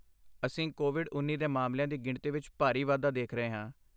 ਅਸੀਂ ਕੋਵਿਡ ਉੱਨੀ ਦੇ ਮਾਮਲਿਆਂ ਦੀ ਗਿਣਤੀ ਵਿੱਚ ਭਾਰੀ ਵਾਧਾ ਦੇਖ ਰਹੇ ਹਾਂ